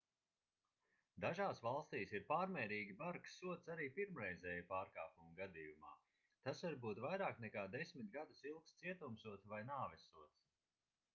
dažās valstīs ir pārmērīgi bargs sods arī pirmreizēja pārkāpuma gadījumā tas var būt vairāk nekā 10 gadus ilgs cietumsods vai nāvessods